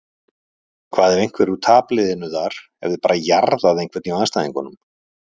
Hvað ef einhver úr tapliðinu þar hefði bara jarðað einhvern hjá andstæðingunum?